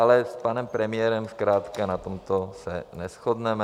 Ale s panem premiérem zkrátka na tomto se neshodneme.